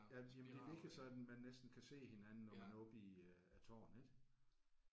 Ja men det er virkelig sådan man næsten kan se hinanden når man er oppe i øh tårnet ik